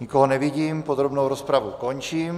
Nikoho nevidím, podrobnou rozpravu končím.